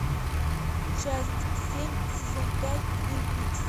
часть семь сезон пять твин пикс